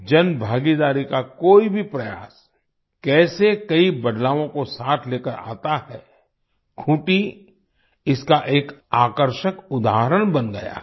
जनभागीदारी का कोई भी प्रयास कैसे कई बदलावों को साथ लेकर आता है खूंटी इसका एक आकर्षक उदाहरण बन गया है